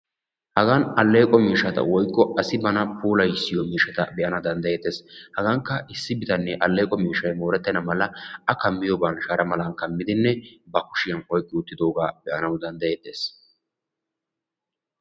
Hagaan alleqo miishshata woykko asi bana puulayissiyoo giishshata be'ana dandayettees. hagankka issi bitanee alleeqo miishshay moorettena mala a kammiyooban shara malan kamiddinne ba kushiyaan oyqqi wottidoogaa be'anawu danddayettees.